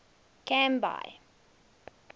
canby